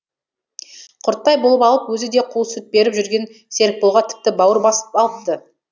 құрттай болып алып өзі де қу сүт беріп жүрген серікболға тіпті бауыр басып алыпты